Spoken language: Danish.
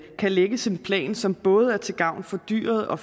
kan lægges en plan som både er til gavn for dyret og